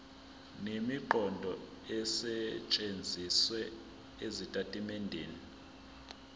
nemiqondo esetshenzisiwe ezitatimendeni